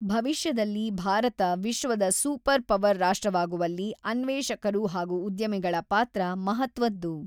ಭವಿಷ್ಯದಲ್ಲಿ ಭಾರತ ವಿಶ್ವದ super power ರಾಷ್ಟ್ರವಾಗುವಲ್ಲಿ ಅನ್ವೇಷಕರು ಹಾಗೂ ಉದ್ಯಮಿಗಳ ಪಾತ್ರ ಮಹತ್ವದ್ದು.